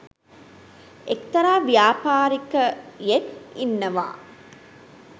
එක්තරා ව්‍යාපාරිකයෙක් ඉන්නවා